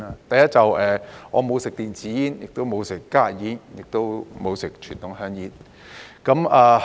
第一，我沒有吸食電子煙，也沒有吸食加熱煙，亦沒有吸食傳統香煙。